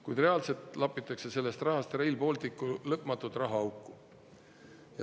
Kuid reaalselt lapitakse sellest rahast Rail Balticu lõpmatut rahaauku.